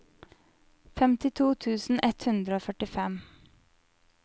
femtito tusen ett hundre og førtifem